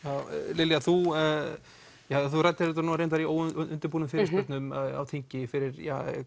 Lilja þú þú ræddir þetta reyndar í óundirbúnum fyrirspurnum á þingi fyrir